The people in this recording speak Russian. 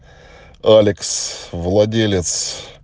алекс владелец